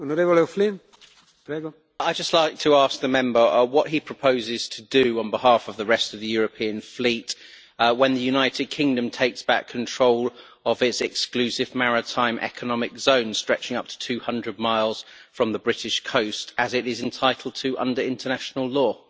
I would just like to ask the Member what he proposes to do on behalf of the rest of the European fleet when the United Kingdom takes back control of its exclusive maritime economic zone stretching up to 200 miles from the British coast, as it is entitled to under international law.